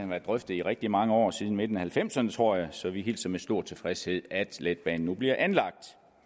været drøftet i rigtig mange år siden midten af nitten halvfemserne tror jeg så vi hilser med stor tilfredshed at letbanen nu bliver anlagt